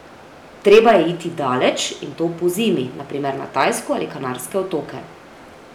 Treba je iti daleč, in to pozimi, na primer na Tajsko ali Kanarske otoke.